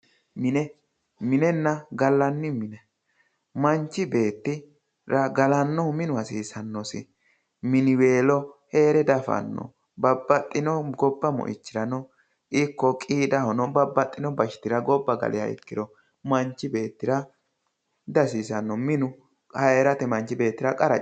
minenna gallanni mine manchi beettira galannohu minu hasiisannosi miniweelo heere diafanno babbaxxinohu gobba moichirano ikko qiidahono babbaxino bashitira gobba galiha ikkiro manchi beettira dihasiisanno minu heerate manchi beettira qara coyiti.